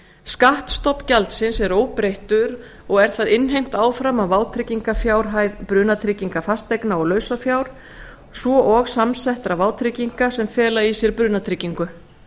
skattstofn gjaldsins er óbreyttur og er það innheimt áfram af vátryggingarfjárhæð brunatrygginga fasteigna og lausafjár svo og samsettra vátrygginga sem fela í sér brunatryggingu